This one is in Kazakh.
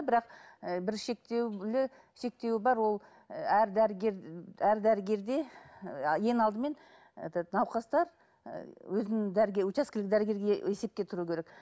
бірақ і бір шектеулі шектеу бар ол і әр дәрігер әр дәрігерге і ең алдымен этот науқастар ы өзінің учаскелік дәрігерге есепке тұру керек